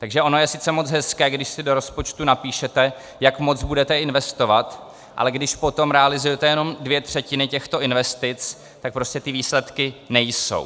Takže ono je sice moc hezké, když si do rozpočtu napíšete, jak moc budete investovat, ale když potom realizujete jenom dvě třetiny těchto investic, tak prostě ty výsledky nejsou.